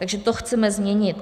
Takže to chceme změnit.